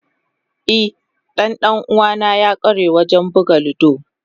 E, dan dan uwana ya kware wajen buga ludo.